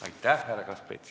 Aitäh, härra Kaskpeit!